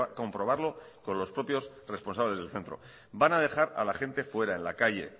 comprobarlo con los propios responsables del centro van a dejar a la gente fuera en la calle